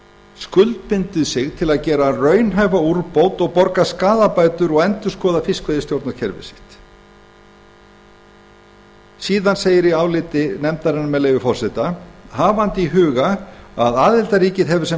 skuldbundið sig til að gera raunhæfa úrbót og borga skaðabætur og endurskoða fiskveiðistjórnarkerfi sitt í áliti nefndarinnar segir með leyfi forseta hafandi í huga að aðildarríkið hefur sem